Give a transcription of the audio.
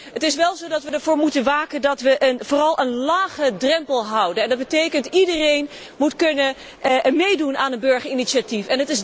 Het is wel zo dat wij ervoor moeten waken dat wij vooral een lage drempel houden en dat betekent dat iedereen moet kunnen meedoen aan een burgerinitiatief.